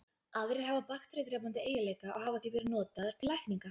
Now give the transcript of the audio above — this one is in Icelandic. Aðrar hafa bakteríudrepandi eiginleika og hafa því verið notaðar til lækninga.